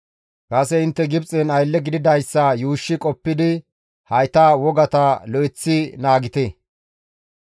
Kase intte Gibxen aylle gididayssa yuushshi qoppidi hayta wogata lo7eththi naagite.